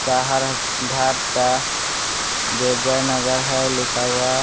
सहारण घाट का जो जयनगर है लिखा हुआ।